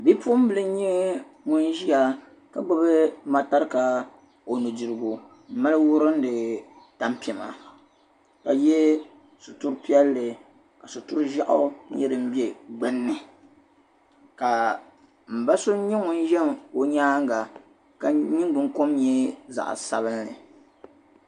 Bi'puɣinbila n-nyɛ ŋun Ʒiya ka gbubi matarika o nu'dirigu m-mali wurim di tampima ka yɛ sitir'piɛlli ka sitir'Ʒeɣu nyɛ din bɛ gbunni ka mba so nyɛ Ʒe o nyaaŋa ka o nyingbuni kom n-nyɛ zaɣ'sabinli